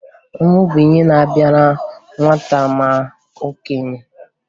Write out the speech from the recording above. Ọnwụ bụ ihe na-abịara nwata ma okenye